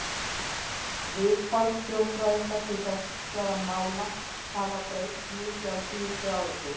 Viðhorf þjóðfræðinga til þessara mála hafa breyst mikið á síðustu áratugum.